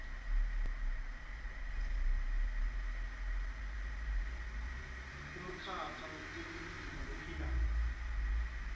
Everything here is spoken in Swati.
umkhakha wetekulima lophilako